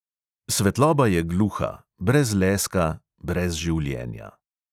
Svetloba je gluha, brez leska, brez življenja.